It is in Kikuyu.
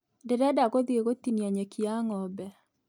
Ndĩrenda gũthiĩ gũtinia nyeki ya ng'ombe